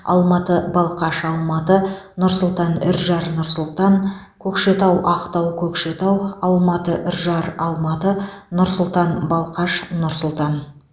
алматы балқаш алматы нұр сұлтан ұржар нұр сұлтан көкшетау ақтау көкшетау алматы ұржар алматы нұр сұлтан балқаш нұр сұлтан